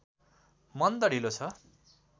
मन्द ढिलो छ